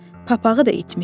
Papağı da itmişdi.